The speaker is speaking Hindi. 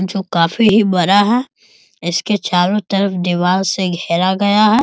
जो काफी ही बड़ा है इसके चारों तरफ दीवाल से गहरा गया है।